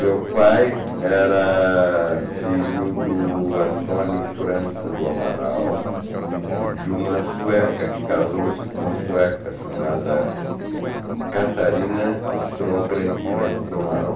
Meu pai era filho do Antônio Franco do Amaral e de uma sueca, que casou-se com uma sueca chamada Catarina Strongren Franco do Amaral.